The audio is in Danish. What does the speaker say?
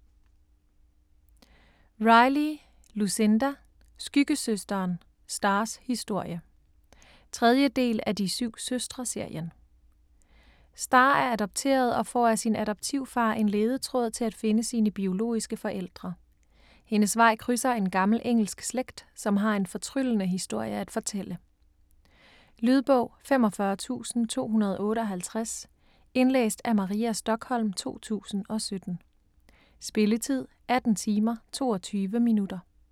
Riley, Lucinda: Skyggesøsteren: Stars historie 3. del af De syv søstre-serien. Star er adopteret og får af sin adoptivfar en ledetråd til at finde sine biologiske forældre. Hendes vej krydser en gammel engelsk slægt, som har en fortryllende historie at fortælle. Lydbog 45258 Indlæst af Maria Stokholm, 2017. Spilletid: 18 timer, 22 minutter.